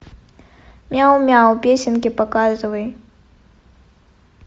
мяу мяу песенки показывай